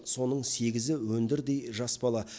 соның сегізі өндірдей жас бала